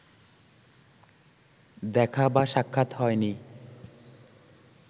দেখা বা সাক্ষাৎ হয়নি